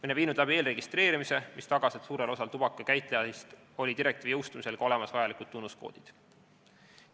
Oleme viinud läbi eelregistreerimise, mis on taganud, et suurel osal tubakakäitlejaist olid direktiivi jõustumisel vajalikud tunnuskoodid olemas.